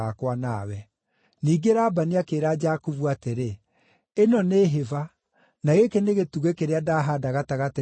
Ningĩ Labani akĩĩra Jakubu atĩrĩ, “Ĩno nĩ hĩba, na gĩkĩ nĩ gĩtugĩ kĩrĩa ndahaanda gatagatĩ gaku na niĩ.